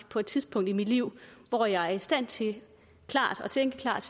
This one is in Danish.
på et tidspunkt i mit liv hvor jeg er i stand til at tænke klart